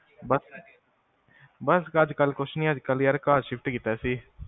ਬਸ ਅੱਜਕਲ੍ਹ ਕੁਸ਼ ਨੀ ਅੱਜਕਲ੍ਹ ਘਰ shift ਕੀਤਾ ਸੀ